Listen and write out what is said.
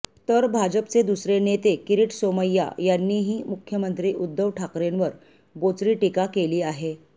तर भाजपचे दुसरे नेते किरीट सोमय्या यांनीही मुख्यमंत्री उद्धव ठाकरेंवर बोचरी टीका केली आहे